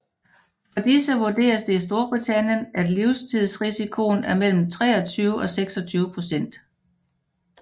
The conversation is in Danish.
For disse vurderes det i Storbritannien at livstidsrisikoen er mellem 23 og 26 procent